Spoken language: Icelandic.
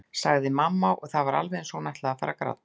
sagði mamma og það var alveg eins og hún ætlaði að fara að gráta.